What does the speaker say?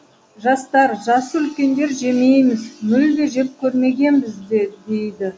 жастар жасы үлкендер жемейміз мүлде жеп көрмегенбізді дейді